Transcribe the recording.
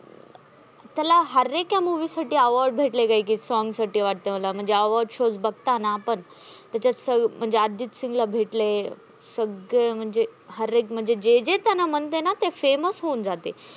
त्याला हर एका movie साठी award भेटले. एक एक songs साठी मला वाटतं. म्हणजे award show बघताना आपण, त्याच्या सर म्हणजे अर्जित सिंगला भेटले. सग्गे म्हणजे हर एक म्हणजे जे जे त्याना म्हणते ना famous होऊन जाते.